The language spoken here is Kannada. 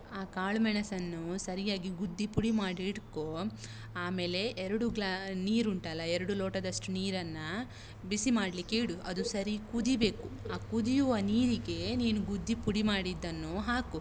ಆ ಕಾಳುಮೆಣಸನ್ನು ಸರಿಯಾಗಿ ಗುದ್ದಿ ಪುಡಿ ಮಾಡಿ ಇಟ್ಕೋ. ಆಮೇಲೆ, ಎರಡು glass ನೀರು ಉಂಟಲ್ಲ, ಎರಡು ಲೋಟದಷ್ಟು ನೀರನ್ನ ಬಿಸಿ ಮಾಡ್ಲಿಕ್ಕೆ ಇಡು, ಅದು ಸರೀ ಕುದೀಬೇಕು. ಆ ಕುದಿಯುವ ನೀರಿಗೆ, ನೀನು ಗುದ್ದಿ ಪುಡಿ ಮಾಡಿದ್ದನ್ನು ಹಾಕು.